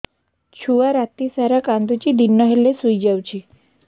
ଛୁଆ ରାତି ସାରା କାନ୍ଦୁଚି ଦିନ ହେଲେ ଶୁଇଯାଉଛି